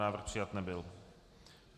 Návrh přijat nebyl.